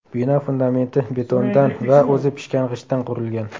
Bino fundamenti betondan va o‘zi pishgan g‘ishtdan qurilgan.